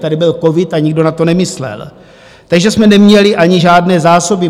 Tady byl covid a nikdo na to nemyslel, takže jsme neměli ani žádné zásoby.